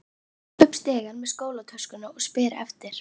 Ég hleyp upp stigann með skólatöskuna og spyr eftir